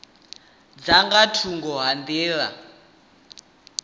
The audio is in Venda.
dza nga thungo ha nḓila